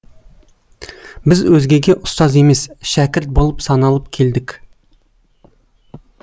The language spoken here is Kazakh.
біз өзгеге ұстаз емес шәкірт болып саналып келдік